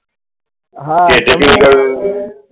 હા